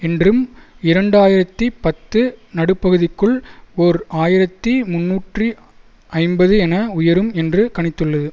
என்றும் இரண்டு ஆயிரத்தி பத்து நடுப்பகுதிக்குள் ஓர் ஆயிரத்தி முன்னூற்றி ஐம்பது என உயரும் என்று கணித்துள்ளது